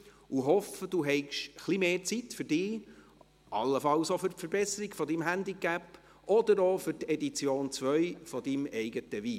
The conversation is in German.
Ich hoffe, Sie haben ein wenig mehr Zeit für sich, allenfalls auch für die Verbesserung Ihres Handicaps oder auch für die Edition 2 Ihres eigenen Weins.